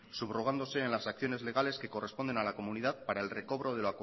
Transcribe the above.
subrogándose en las acciones legales que corresponden a la comunidad para el recobro